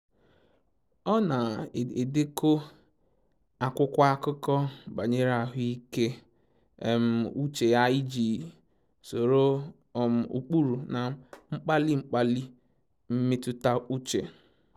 Ọ na-edekọ akwụkwọ akụkọ banyere ahụike uche ya iji soro ụkpụrụ na mkpali mkpali mmetụta uche